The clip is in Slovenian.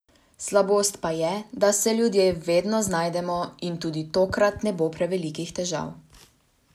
Slabost pa je, da se ljudje vedno znajdemo in tudi tokrat ne bo prevelikih težav.